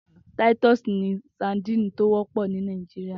Titus ni sàdín tó wòpò jú ni Nàijiriá